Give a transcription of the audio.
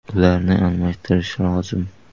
Ularni almashtirish lozim.